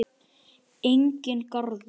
Enginn garður.